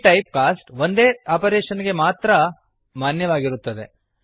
ಈ type cost ಒಂದೇ operation ಗೆ ಮಾತ್ರ ಮಾನ್ಯವಾಗಿರುತ್ತದೆ